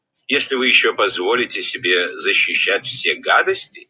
если вы ещё позволите себе защищать все гадости